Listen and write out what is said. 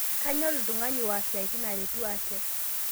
Kanyor ltungana waaas siatin aretu aate